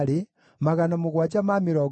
na Lebana, na Hagaba, na Akubu,